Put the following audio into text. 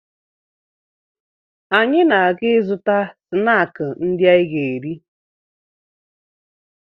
Anyị na-aga ịzụta snaakị ndị anyị ga-eri